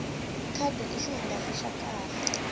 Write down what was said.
khadi i xihungasi xa kahle